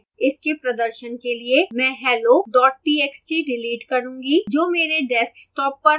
इसके प्रदर्शन के लिए मैं hello txt डिलीट करूँगा जो मेरे desktop पर है